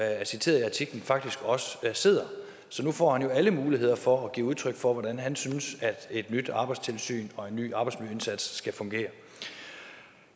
er citeret i artiklen faktisk også sidder så nu får han jo alle muligheder for at give udtryk for hvordan han synes at et nyt arbejdstilsyn og en ny arbejdsmiljøindsats skal fungere